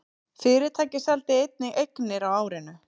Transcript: Fyrirtækið seldi einnig eignir á árinu